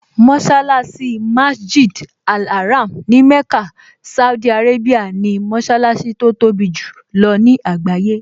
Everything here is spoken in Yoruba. Mọṣálásí Masjid al-Haram ní Mecca, Saudi Arabia ni mọṣálásí tó tóbi jù lọ ní àgbáyé